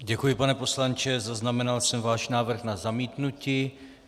Děkuji, pane poslanče, zaznamenal jsem váš návrh na zamítnutí.